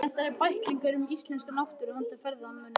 Þetta eru bæklingar um íslenska náttúru handa ferðamönnum.